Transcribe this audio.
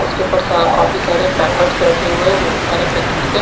उसके ऊपर सा काफी सारे पैकेट्स रखे हुए है बहुत सारे पैकेट्स है।